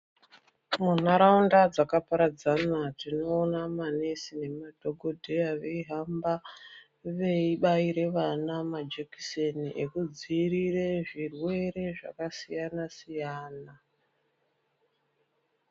Munharaunda dzakaparadzana tinoona manesi nemadhokodheya veihamba veibaira vana majekiseni ekudzivirire zvirwere zvakasiyana siyana.